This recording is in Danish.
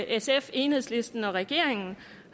sf enhedslisten og regeringen